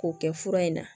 K'o kɛ fura in na